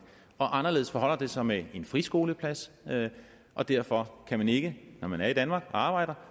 anderledes forholder det sig med en friskoleplads og derfor kan man ikke når man er i danmark og arbejder